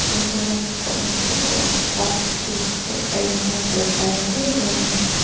inchung lamah chhoh na tur a awm bawk a thil hi a in rem felfai lo em em a ni.